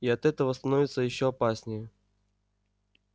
и от этого становится ещё опаснее